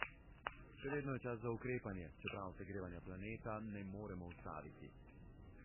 Še vedno je čas za ukrepanje, čeprav segrevanja planeta ne moremo ustaviti.